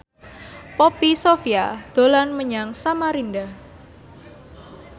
Poppy Sovia dolan menyang Samarinda